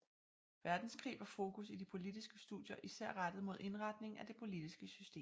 Verdenskrig var fokus i de politiske studier især rettet mod indretningen af det politiske system